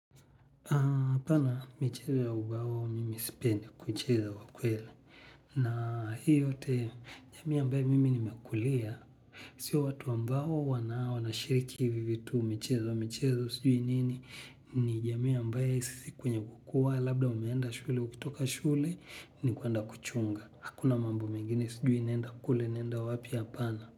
Hapana michezo ya umbao mimi sipendi kucheza kwa kweli na hii yote jamii ambayo mimi nimekulia. Sio watu ambao wanashiriki hivi vitu michezo michezo sijui nini ni jamii ambayo sisi kwenye kukua labda umeenda shule ukitoka shule ni kuenda kuchunga. Hakuna mambo mengine sijui nenda kule nenda wapi hapana.